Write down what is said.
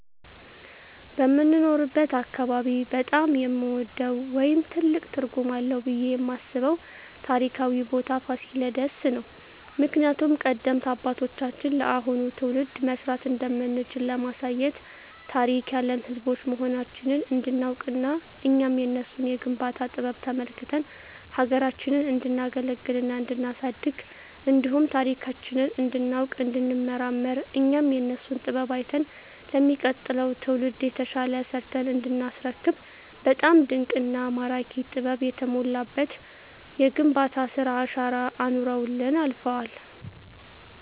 በምኖርበት አካባቢ በጣም የምወደው ወይም ትልቅ ትርጉም አለዉ ብየ የማስበው ታሪካዊ ቦታ ፋሲለደስ ነው። ምክንያቱም ቀደምት አባቶቻችን ለአሁኑ ትውልድ መስራት እንደምንችል ለማሳየት ታሪክ ያለን ህዝቦች መሆናችንን እንዲናውቅና እኛም የነሱን የግንባታ ጥበብ ተመልክተን ሀገራችንን እንዲናገለግልና እንዲናሳድግ እንዲሁም ታሪካችንን እንዲናውቅ እንዲንመራመር እኛም የነሱን ጥበብ አይተን ለሚቀጥለው ትውልድ የተሻለ ሰርተን እንዲናስረክብ በጣም ድንቅና ማራኪ ጥበብ የተሞላበት የግንባታ ስራ አሻራ አኑረውልን አልፈዋል።